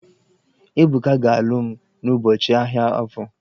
Ebuka ga-alụ m n'ụbọchị ahia Afọ.